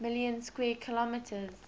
million square kilometres